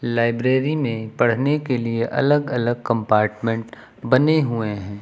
Library में पढ़ने के लिए अलग अलग कंपार्टमेंट बने हुए हैं।